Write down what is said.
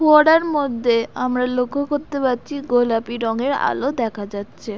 ফোয়ারার মধ্যে আমরা লক্ষ করতে পারছি গোলাপি রঙের আলো দেখা যাচ্ছে।